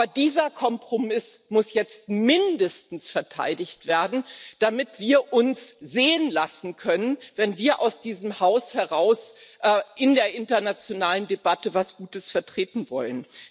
Aber dieser Kompromiss muss jetzt mindestens verteidigt werden, damit wir uns sehen lassen können, wenn wir aus diesem Haus heraus in der internationalen Debatte etwas Gutes vertreten wollen.